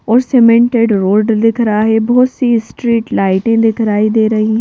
और cemented road दिख रहा है बहुत सी स्ट्रीट लाइटें दिखाई दे रही--